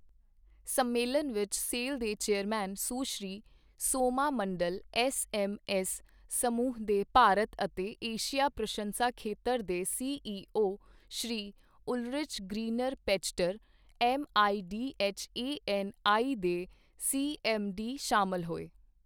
ਸੰਮੇਲਨ ਵਿੱਚ ਸੇਲ ਦੇ ਚੇਅਰਮੈਨ, ਸੁਸ਼੍ਰੀ ਸੋਮਾ ਮੰਡਲ, ਐੱਸਐੱਮਐੱਸ ਸਮੂਹ ਦੇ ਭਾਰਤ ਅਤੇ ਏਸ਼ੀਆ ਪਰਸ਼ਨਸ਼ਾ ਖੇਤਰ ਦੇ CEO Shri Ulrich Greiner Pachter, MIDHANI ਦੇ ਸੀਐੱਮਡੀ ਸ਼ਾਮਿਲ ਹੋਏ।